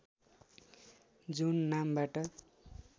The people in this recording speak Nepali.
जुन नामबाट